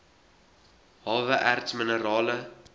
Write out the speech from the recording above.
hawe erts minerale